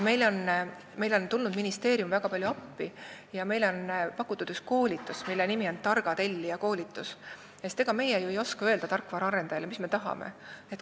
Ministeerium on tulnud meile väga palju appi ja on pakutud ka ühte koolitust, mille nimi on "Targa tellija koolitus", sest ega meie ju ei oska öelda tarkvaraarendajale, mis me tahame.